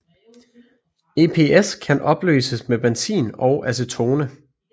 EPS kan opløses med benzin og acetone